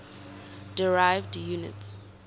derived units